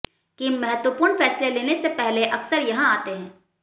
किम महत्वपूर्ण फैसले लेने से पहले अक्सर यहां आते हैं